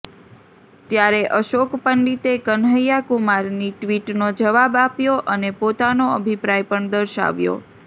ત્યારે અશોક પંડિતે કન્હૈયા કુમારની ટ્વિટનો જવાબ આપ્યો અને પોતાનો અભિપ્રાય પણ દર્શાવ્યો